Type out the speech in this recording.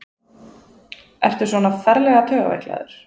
Ertu svona ferlega taugaveiklaður?